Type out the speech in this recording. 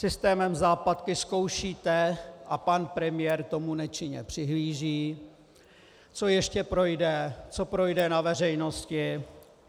Systémem západky zkoušíte, a pan premiér tomu nečinně přihlíží, co ještě projde, co projde na veřejnosti.